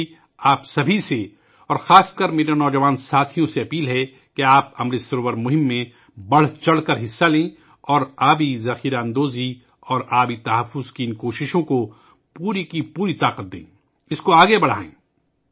میری آپ سب سے، خاص کر میرے نوجوان دوستوں سے درخواست ہے کہ وہ امرت سروور مہم میں بڑھ چڑھ کر حصہ لیں اور پانی کو جمع کرنے اور اس کے تحفظ کی ان کوششوں کو پوری طاقت سے آگے بڑھائیں